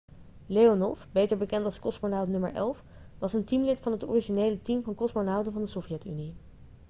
leonov beter bekend als 'kosmonaut nr. 11' was een teamlid van het originele team van kosmonauten van de sovjet-unie